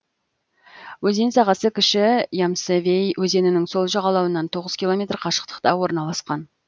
өзен сағасы кіші ямсовей өзенінің сол жағалауынан тоғыз километр қашықтықта орналасқан